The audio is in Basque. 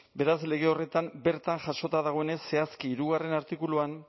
beraz lege horretan bertan jasota dagoenez zehazki hirugarrena artikuluan